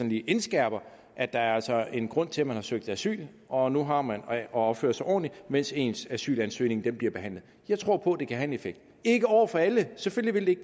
lige indskærper at der altså er en grund til at man har søgt asyl og nu har man at opføre sig ordentligt mens ens asylansøgning bliver behandlet jeg tror på at det kan have en effekt ikke over for alle selvfølgelig